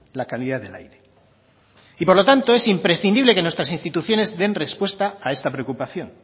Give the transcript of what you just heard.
la calidad del aire y por lo tanto es imprescindible que nuestras instituciones den respuesta a esta preocupación